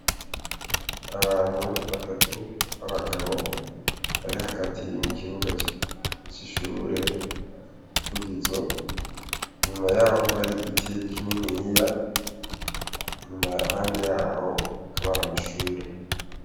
Hari abantu batatu; n’abagabo bari hagati mu kibuga c’ishure vugizo. Inyuma yaho hari igiti kinini ,iruhande yaho hakaba hari amashure.